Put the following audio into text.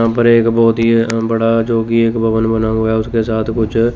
यहां पर एक बहोत ही बड़ा जो कि एक भवन बना हुआ है उसके साथ कुछ--